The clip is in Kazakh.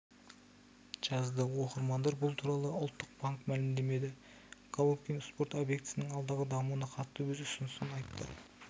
жазды оқырмандар бұл туралы ұлттық банк мәлімдеді головкин спорт объектісінің алдағы дамуына қатысты өз ұсынысын айтты